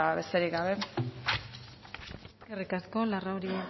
besterik gabe eskerrik asko larrauri